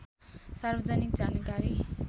सार्वजनिक जानकारी